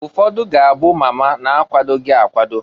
Ụfọdụ ga-abụ mama na-akwadoghi akwado.